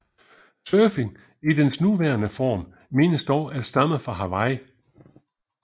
Surfing i dens nuværendre form menes dog at stamme fra Hawaii